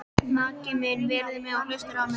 Maki minn virðir mig og hlustar á mig.